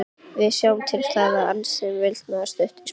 Við sjáum til með það- ansaði Valdimar stuttur í spuna.